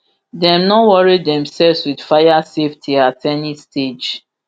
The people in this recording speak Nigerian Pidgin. dem no worry themselves wit fire safety at any stage